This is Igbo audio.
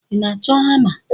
Ị na-achọ hama?